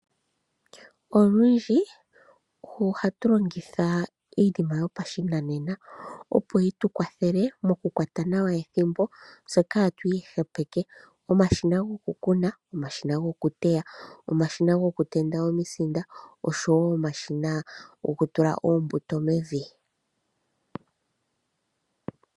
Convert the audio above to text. Olundji oha tu longitha iinima yopashinanena opo yi tukwathele mokukwata nawa ethimbo tse kaatwihepeke ngaashi omashina gokukuna, omashina gokuteya, omashina gokutenda omisinda oshowo omashina gokutula oombuto mevi.